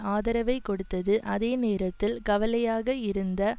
ஆதரவைக் கொடுத்தது அதே நேரத்தில் கலவையாக இருந்த